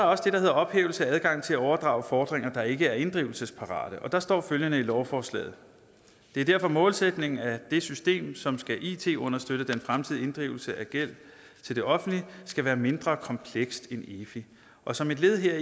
også det der hedder ophævelse af adgang til at overdrage fordringer der ikke er inddrivelsesparate og der står følgende i lovforslaget det er derfor målsætningen at det system som skal it understøtte den fremtidige inddrivelse af gæld til det offentlige skal være mindre komplekst end efi og som et led